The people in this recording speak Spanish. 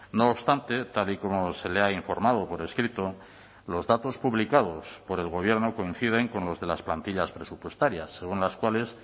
no obstante tal y como se le ha informado por escrito los datos publicados por el gobierno coinciden con los de las plantillas presupuestarias según las cuales